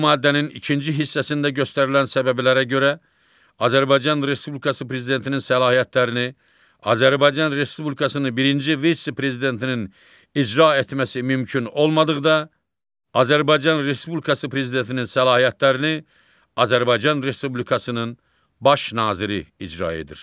Bu maddənin ikinci hissəsində göstərilən səbəblərə görə Azərbaycan Respublikası prezidentinin səlahiyyətlərini Azərbaycan Respublikasının birinci vitse-prezidentinin icra etməsi mümkün olmadıqda, Azərbaycan Respublikası prezidentinin səlahiyyətlərini Azərbaycan Respublikasının baş naziri icra edir.